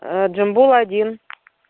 джамбула один